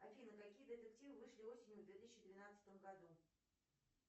афина какие детективы вышли осенью в две тысячи двенадцатом году